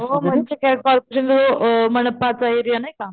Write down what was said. हो म्हणजे काय कॉर्पोरेशन जो मनपा चा एरिया नाही का